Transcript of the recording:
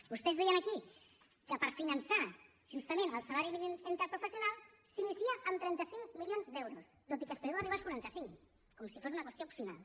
vostès deien aquí que per finançar justament el salari mínim interprofessional s’inicia amb trenta cinc milions d’euros tot i que es preveu arribar als quaranta cinc com si fos una qüestió opcional